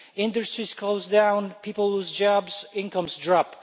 Industries close down, people lose jobs, incomes drop.